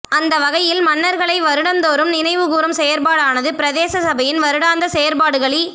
அந்தவகையில் மன்னர்களை வருடம் தோறும் நினைவுகூரும் செயற்பாடானது பிரதேச சபையின் வருடாந்த செயற்பாடுகளி